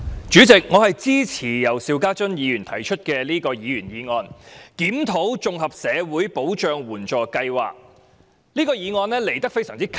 主席，我支持由邵家臻議員提出"檢討綜合社會保障援助計劃"的議員議案。